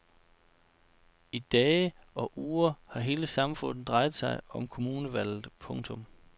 I dage og uger har hele samfundet drejet sig om kommunevalget. punktum